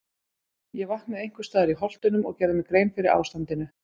Ég vaknaði einhvers staðar í Holtunum og gerði mér grein fyrir ástandinu.